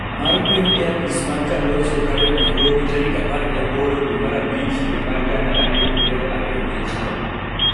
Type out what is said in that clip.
mar Piny e apis mag Kalonzo Karen Nairobi tarik apar gi aboro dwe mar abich higa mar gana ariyo gi piero ariyo gi achiel.